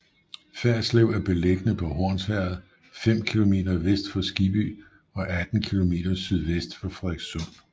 Ferslev er beliggende på Hornsherred fem kilometer vest for Skibby og 18 kilometer sydvest for Frederikssund